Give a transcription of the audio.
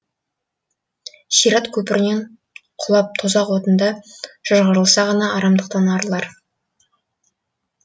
сират көпірінен құлап тозақ отында шыжғырылса ғана арамдықтан арылар